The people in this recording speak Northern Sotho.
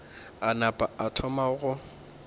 a napa a thoma go